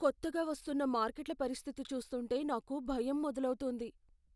కొత్తగా వస్తున్న మార్కెట్ల పరిస్థితి చూస్తుంటే నాకు భయం మొదలవుతోంది.